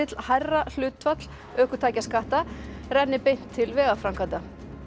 hærra hlutfall ökutækjaskatta renni beint til vegaframkvæmda